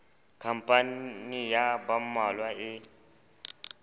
khampani ya ba mmalwa e